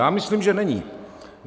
Já myslím, že není.